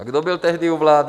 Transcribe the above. A kdo byl tehdy u vlády?